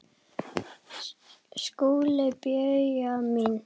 SKÚLI: Bauja mín!